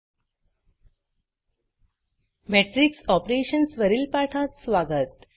matrix Operationsमेट्रिक्स operations वरील पाठात स्वागत